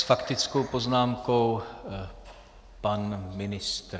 S faktickou poznámkou pan ministr.